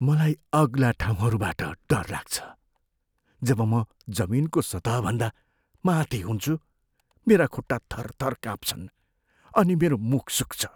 मलाई अग्ला ठाउँहरूबाट डर लाग्छ। जब म जमिनको सतहभन्दा माथि हुन्छु मेरा खुट्टा थरथर काँप्छन् अनि मेरो मुख सुक्छ।